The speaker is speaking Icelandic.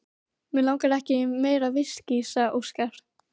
Mig langar ekki í meira viskí, sagði Óskar.